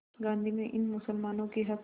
गांधी ने इन मुसलमानों के हक़